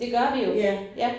Det gør vi jo ja